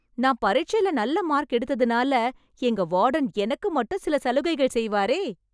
நான் பரிட்சைல நல்ல மார்க் எடுத்ததுனால எங்க வார்டன் எனக்கு மட்டும் சில சலுகைகள் செய்வாரே...